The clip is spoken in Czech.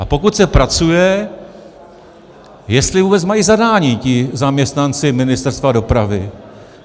A pokud se pracuje, jestli vůbec mají zadání ti zaměstnanci Ministerstva dopravy.